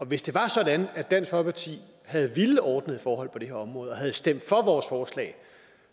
hvis det var sådan at dansk folkeparti havde villet ordnede forhold på det her område og havde stemt for vores forslag